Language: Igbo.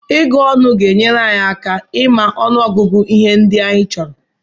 Ịgụ ọnụ ga-enyere anyị aka ịma ọnụọgụgụ ihe ndị anyị chọrọ.